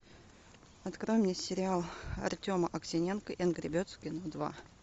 открой мне сериал артема аксененко энгр бердс в кино два